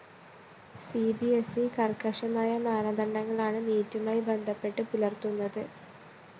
C B S E കര്‍ക്കശമായ മാനദണ്ഡങ്ങളാണ് നീറ്റുമായി ബന്ധപ്പെട്ട് പുലര്‍ത്തുന്നത്